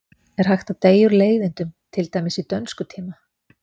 Er hægt að deyja úr leiðindum, til dæmis í dönskutíma?